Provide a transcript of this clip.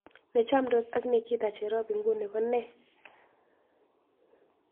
Ne chomndos ak nikita cherop inguni konee